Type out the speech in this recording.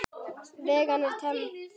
Vaggan er tóm.